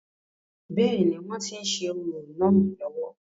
bẹ́ẹ̀ni, wọ́n tí ń ṣe orò náà lọ́wọ́